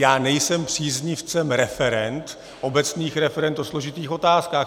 Já nejsem příznivcem referend, obecných referend o složitých otázkách.